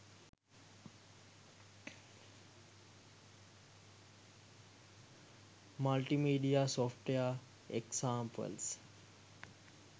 multimedia software examples